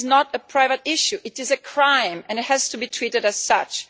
It is not a private issue, it is a crime, and it has to be treated as such.